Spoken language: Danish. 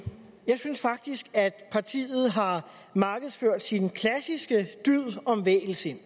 jeg synes faktisk at partiet har markedsført sin klassiske dyd om vægelsind